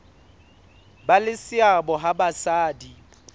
ba le seabo ha basadi